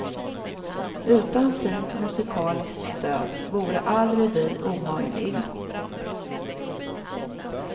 Utan fint musikaliskt stöd vore all revy omöjlig.